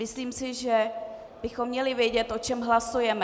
Myslím si, že bychom měli vědět, o čem hlasujeme.